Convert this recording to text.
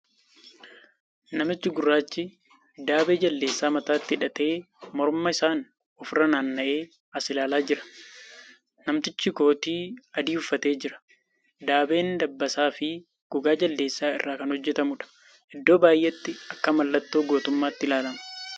Namichi gurraachi daabee jaldeessaa mataatti hidhatee morma isaan ofirra naanna'ee as ilaalaa jira. Namtichi kootii adii uffatee jira. Daabeen dabbasaa fi gogaa jaldeessaa irraa kan hojjatamuudha. Iddoo baay'eetti akka mallattoo goorummaatti ilaalama.